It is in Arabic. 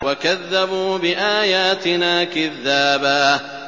وَكَذَّبُوا بِآيَاتِنَا كِذَّابًا